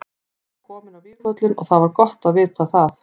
Ég var kominn á vígvöllinn og það var gott að vita það.